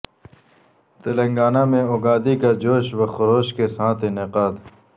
تلنگانہ میں اگادی کا جوش و خروش کے ساتھ انعقاد